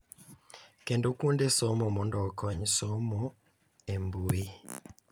Kendo kuonde somo mondo okony somo e mbui,